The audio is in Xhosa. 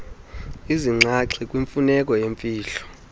izinxaxhi kwimfuneko yemfihlo